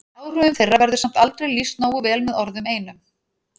Áhrifum þeirra verður samt aldrei lýst nógu vel með orðum einum.